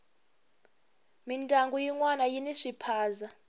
mindyangu yinwana yini swiphaza